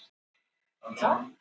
Hver er að hringja bjöllunni?